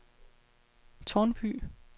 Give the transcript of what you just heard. Tårnby